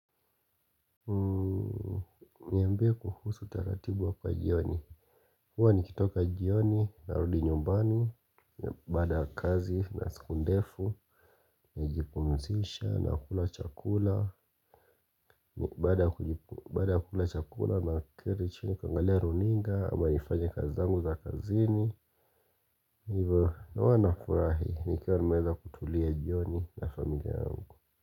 Niambie kuhusu taratibu wako wa jioni huwa nikitoka jioni narudi nyumbani Baada ya kazi na siku ndefu Nijipumzisha na kula chakula Baada ya kula chakula naketi chini kuangalia runinga ama nifanye kazi zangu za kazini Hivyo na huwa nafurahi nikiwa nimeeza kutulia jioni na familia yangu.